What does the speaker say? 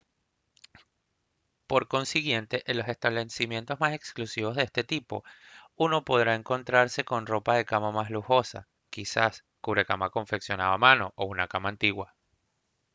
por consiguiente en los establecimientos más exclusivos de este tipo uno podrá encontrarse con la ropa de cama más lujosa quizás un cubrecama confeccionado a mano o una cama antigua